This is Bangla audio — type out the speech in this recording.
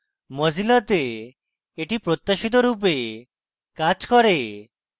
mozilla তে এটি প্রত্যাশিত রূপে কাজ করে